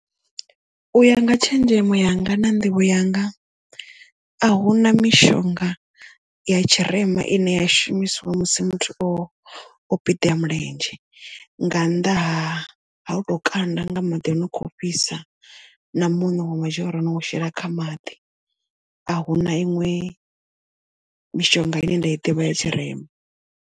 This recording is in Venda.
U ya nga tshenzhemo yanga na nḓivho yanga a hu na mishonga ya tshirema ine ya shumiswa musi muthu o o piḓea mulenzhe nga nnḓa ha ha u to kanda nga maḓi o no kho fhisa na muṋo wa matshelo no u shela kha maḓi ahuna iṋwe mishonga ine nda i ḓivha ya tshirema.